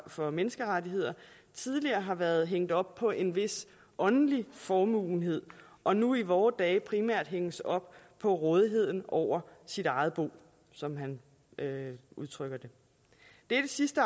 for menneskerettigheder tidligere har været hængt op på en vis åndelig formåenhed og nu i vore dage primært hænges op på rådighed over sit eget bo som han udtrykker det dette sidste